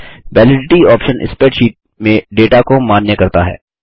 validity option spreadsheet में data को मान्य करता है